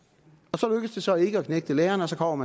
det lykkedes så ikke at knægte lærerne og så kom